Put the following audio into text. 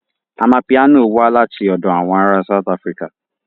Amapiano wá láti ọ̀dọ̀ àwọn ará South Africa